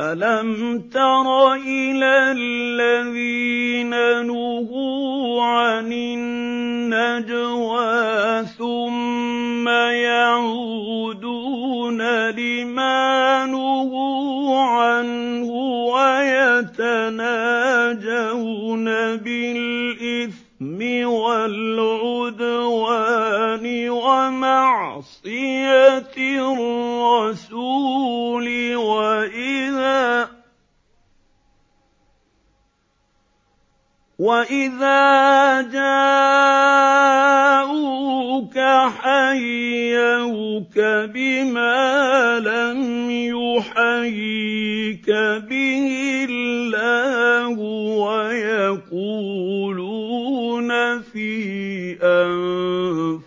أَلَمْ تَرَ إِلَى الَّذِينَ نُهُوا عَنِ النَّجْوَىٰ ثُمَّ يَعُودُونَ لِمَا نُهُوا عَنْهُ وَيَتَنَاجَوْنَ بِالْإِثْمِ وَالْعُدْوَانِ وَمَعْصِيَتِ الرَّسُولِ وَإِذَا جَاءُوكَ حَيَّوْكَ بِمَا لَمْ يُحَيِّكَ بِهِ اللَّهُ وَيَقُولُونَ فِي